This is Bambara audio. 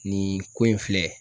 Nin ko in filɛ